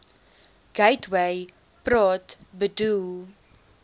gateway praat bedoel